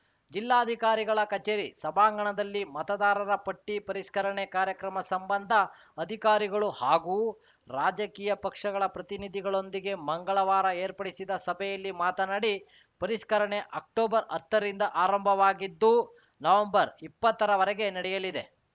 ಜಿಲ್ಲಾಧಿಕಾರಿಗಳ ಕಚೇರಿ ಸಭಾಂಗಣದಲ್ಲಿ ಮತದಾರರ ಪಟ್ಟಿಪರಿಷ್ಕರಣೆ ಕಾರ್ಯಕ್ರಮ ಸಂಬಂಧ ಅಧಿಕಾರಿಗಳು ಹಾಗೂ ರಾಜಕೀಯ ಪಕ್ಷಗಳ ಪ್ರತಿನಿಧಿಗಳೊಂದಿಗೆ ಮಂಗಳವಾರ ಏರ್ಪಡಿಸಿದ ಸಭೆಯಲ್ಲಿ ಮಾತನಾಡಿ ಪರಿಷ್ಕರಣೆ ಅಕ್ಟೋಬರ್‌ ಹತ್ತರಿಂದ ಆರಂಭವಾಗಿದ್ದು ನವಂಬರ್‌ ಇಪ್ಪತ್ತರ ವರೆಗೆ ನಡೆಯಲಿದೆ